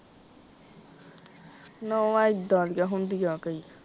ਨੌਵਾਂ ਇੱਦਾਂ ਦੀਆਂ ਹੁੰਦੀਆਂ ਕਈ।